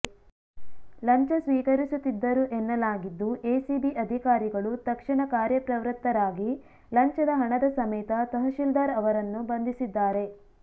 ಲಂಚ ಸ್ವೀಕರಿಸುತ್ತಿದ್ದರು ಎನ್ನಲಾಗಿದ್ದು ಎಸಿಬಿ ಅಧಿಕಾರಿಗಳು ತಕ್ಷಣ ಕಾರ್ಯಪ್ರವೃತ್ತರಾಗಿ ಲಂಚದ ಹಣದ ಸಮೇತ ತಹಶೀಲ್ದಾರ್ ಅವರನ್ನು ಬಂಧಿಸಿದ್ದಾರೆ